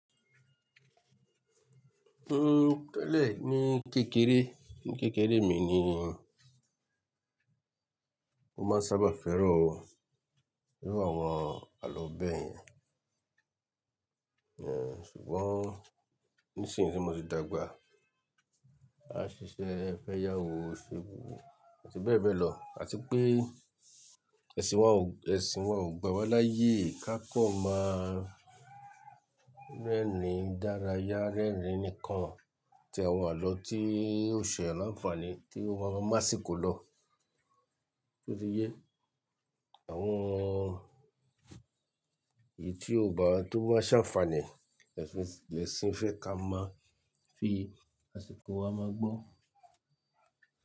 N tele ní kékeré, ní kékeré mi ni mo máa sábà fẹ́ràn, iru àwọn àlọ́ bẹ́ẹ̀ yẹn. Èéh, ṣùgbọ́n nísinyí tí mo ti dàgbà, a ṣiṣẹ́, ẹ fẹ́ yá owó, o ṣubú àti bẹ́ẹ̀ bẹ́ẹ̀ lọ. Àti pé ẹ̀sìn wa ò, ẹ̀sìn wa ò gbà wá láyé ká kan má rẹ́rìn dárayá, rẹ́rìn nikan atí awon alọ tí ó ṣe ni ànfàní tí ó máa sì kó lọ. Ó ti yé. Àwọn eyi ti ọba tó ba n ṣànfàní, ẹsin, ẹ̀sìn fẹ́ ká máa fi àsìkò wa máa gbọ́